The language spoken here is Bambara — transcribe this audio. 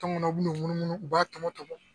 Tɔngɔnɔ bi n'u munumu u b'a tɔmɔ tɔmɔ.